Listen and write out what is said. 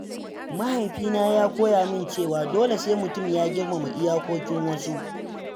Mahaifina ya koya min cewa dole sai mutum ya girmama iyakokin wasu.